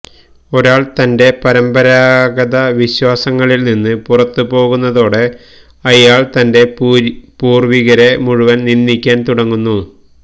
ഒരാള് തന്റെ പരമ്പരാഗത വിശ്വാസങ്ങളില്നിന്ന് പുറത്തുപോകുന്നതോടെ അയാള് തന്റെ പൂര്വികരെ മുഴുവന് നിന്ദിക്കാന് തുടങ്ങുന്നു